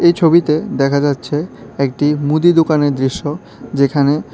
ছবিতে দেখা যাচ্ছে একটি মুদি দোকানের দৃশ্য যেখানে--